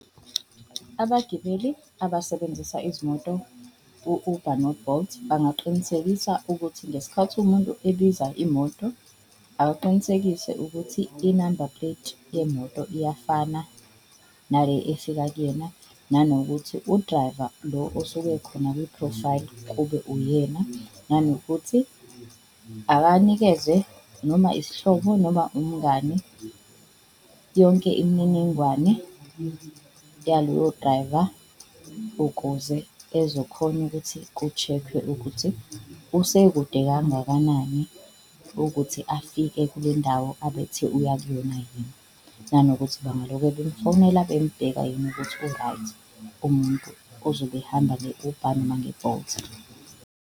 Abagibeli abasebenzisa izimoto u-Uber no-Bolt bangaqinisekisa ukuthi ngesikhathi umuntu ebiza imoto akaqinisekise ukuthi i-number plate yemoto iyafana nale efika kuyena. Nanokuthi udrayiva lo osuke ekhona kwi-profile kube uyena, nanokuthi akanikeze noma isihlobo noma umngani yonke imininingwane yaloyo drayiva ukuze ezokhona ukuthi ku-check-we ukuthi usekude kangakanani ukuthi afike kulendawo abethe uya kuyona yena. Nanokuthi bangaloke bemfonela bembheka yini ukuthi u-right umuntu ozobe ehamba nge-Uber noma nge-Bolt.